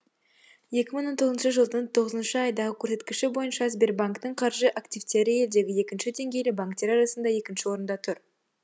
екі мың он тоғызыншы жылдың тоғызыншы айдағы көрсеткіші бойынша сбербанктің қаржы активтері елдегі екінші деңгейлі банктер арасында екінші орында тұр